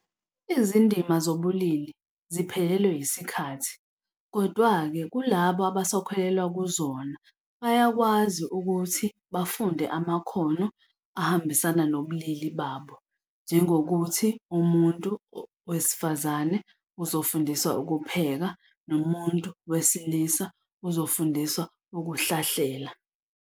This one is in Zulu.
Izindima zobulili ziphelelelwe yisikhathi, kodwa-ke kulaba abasakholelwa kuzona bayakwazi ukuthi bafunde amakhono ahambisana nobulili babo. Njengokuthi umuntu wesifazane uzofundiswa ukupheka, nomuntu wesilisa uzofundiswa ukuhlahlela.